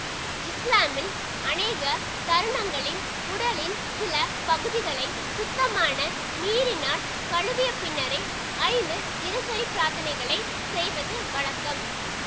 இஸ்லாமில் அநேக தருணங்களில் உடலின் சில பகுதிகளை சுத்தமான நீரினால் கழுவிய பின்னரே ஐந்து தினசரி பிரார்த்தனைகளைச் செய்வது வழக்கம்